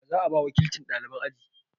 Wa za a ba wakilcin ɗaliban aji?